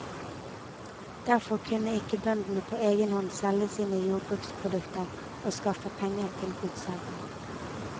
Derfor kunne ikke bøndene på egen hånd selge sine jordbruksprodukter og skaffe penger til godsherren.